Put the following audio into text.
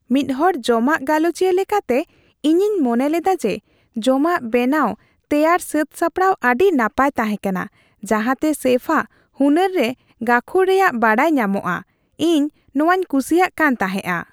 ᱢᱤᱫ ᱦᱚᱲ ᱡᱚᱢᱟᱜ ᱜᱟᱞᱚᱪᱤᱭᱟᱹ ᱞᱮᱠᱟᱛᱮ, ᱤᱧᱤᱧ ᱢᱚᱱᱮ ᱞᱮᱫᱟ ᱡᱮ ᱡᱚᱢᱟᱜ ᱵᱮᱱᱟᱣ ᱮᱨᱭᱟᱜ ᱥᱟᱹᱛ ᱥᱟᱯᱲᱟᱣ ᱟᱹᱰᱤ ᱱᱟᱯᱟᱭ ᱛᱟᱦᱮᱸᱠᱟᱱᱟ, ᱡᱟᱦᱟᱸᱛᱮ ᱥᱮᱯᱷᱼᱟᱜ ᱦᱩᱱᱟᱹᱨ ᱨᱮ ᱜᱟᱹᱠᱷᱩᱲ ᱨᱮᱭᱟᱜ ᱵᱟᱰᱟᱭ ᱧᱟᱢᱚᱜᱼᱟ ᱾ ᱤᱧ ᱱᱚᱶᱟᱧ ᱠᱩᱥᱤᱭᱟᱜ ᱠᱟᱱ ᱛᱟᱦᱮᱸᱜᱼᱟ ᱾